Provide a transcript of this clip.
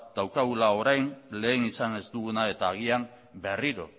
daukagula orain lehen izan ez duguna eta agian berriro